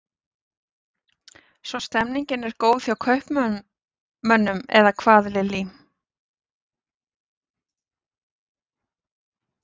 Svo stemningin er góð hjá kaupmönnum eða hvað Lillý?